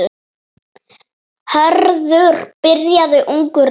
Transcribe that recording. Hörður byrjaði ungur á sjó.